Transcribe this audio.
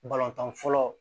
Balontan fɔlɔ